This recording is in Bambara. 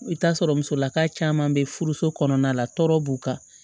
I bɛ t'a sɔrɔ musolaka caman bɛ furuso kɔnɔna la tɔɔrɔ b'u kan